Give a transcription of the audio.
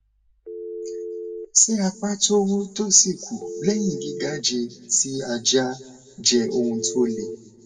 se apa to wu to si ku leyin gigaje ti aja je ohun to le